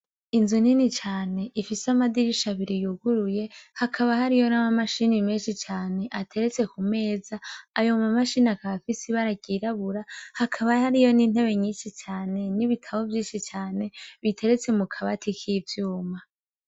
Inzu nini cane ifise amadirisha abiri yuguruye hakaba hariho nama machine menshi cane ateretse kumeza ayo ma machine afise ibara ry'irabura hakaba hariho n'intebe nyinshi cane n'ibitabo vyinshi cane biteretse mukabati k'ivyuma.